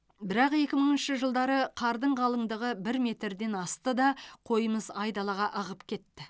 бірақ екі мыңыншы жылдары қардың қалыңдығы бір метрден асты да қойымыз айдалаға ығып кетті